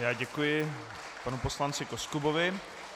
Já děkuji panu poslanci Koskubovi.